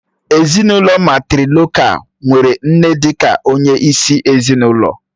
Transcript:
Ezinụlọ mátrịlokál nwere nne dị ka onye isi ezinụlọ